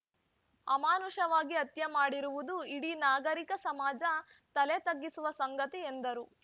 ಅಮಾನುಷವಾಗಿ ಹತ್ಯೆ ಮಾಡಿರುವುದು ಇಡೀ ನಾಗರೀಕ ಸಮಾಜ ತಲೆ ತಗ್ಗಿಸುವ ಸಂಗತಿ ಎಂದರು